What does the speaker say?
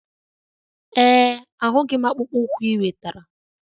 Ee, ahụghị m akpụkpọ ụkwụ ị wetara.